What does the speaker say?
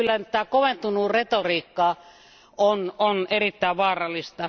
Mutta kyllä tämä koventunut retoriikka on erittäin vaarallista.